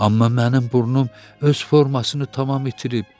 Amma mənim burnum öz formasını tamam itirib.